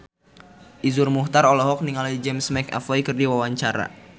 Iszur Muchtar olohok ningali James McAvoy keur diwawancara